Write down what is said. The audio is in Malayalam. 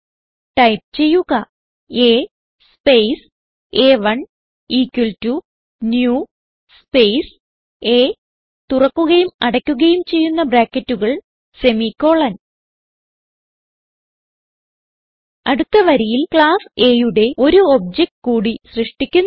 ടൈപ്പ് ചെയ്യുക A സ്പേസ് അ1 equal to new space A തുറക്കുകയും അടക്കുകയും ചെയ്യുന്ന ബ്രാക്കറ്റുകൾ സെമിക്കോളൻ അടുത്ത വരിയിൽ ക്ലാസ് Aയുടെ ഒരു ഒബ്ജക്ട് കൂടി സൃഷ്ടിക്കുന്നു